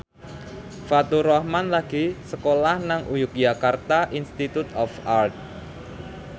Faturrahman lagi sekolah nang Yogyakarta Institute of Art